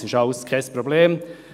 Das ist alles kein Problem.